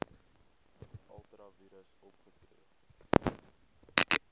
ultra vires opgetree